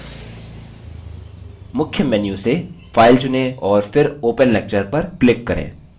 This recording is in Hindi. मुख्य menu से file चुनें और फिर open lecture पर click करें